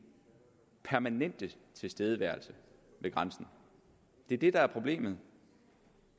permanente tilstedeværelse ved grænsen det er det der er problemet